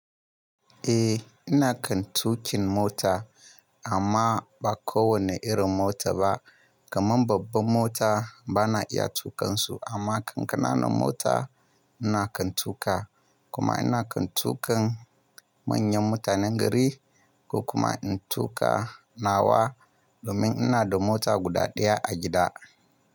Eh, ina kan tuƙin mota amma ba kowanne irin mota ba. Kaman babban mota ba na iya tuƙansu amma kan ƙana nan mota ina kan tuƙa kuma ina kan tuƙan manyan mutanen gari ko kuma in tuƙa nawa domin ina da mota guda ɗaya a gida.